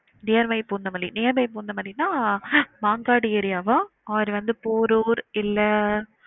Near by Poonamallee near by Poonamallee னா Mangadu area வா or வந்து போரூர் இல்ல